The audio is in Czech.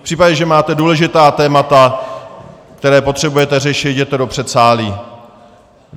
V případě, že máte důležitá témata, která potřebujete řešit, jděte do předsálí.